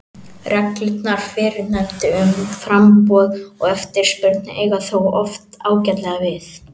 Reglurnar fyrrnefndu um framboð og eftirspurn eiga þó oft ágætlega við.